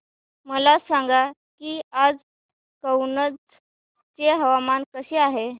मला सांगा की आज कनौज चे हवामान कसे आहे